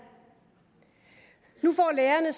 nu får lærerne